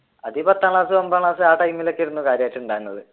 അത് ഈ പത്താം ക്ലാസ് ഒൻപതാം ക്ലാസ് ആ ടൈമിലോക്കെ ആയിരുന്നു കാര്യാമായിട്ട് ഉണ്ടായിരുന്നത്.